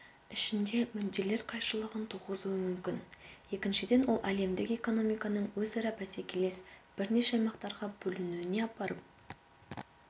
ішінде мүдделер қайшылығын туғызуы мүмкін екіншіден ол әлемдік экономиканың өзара бәсекелес бірнеше аймақтарға бөлінуіне апарып